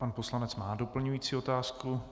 Pan poslanec má doplňující otázku.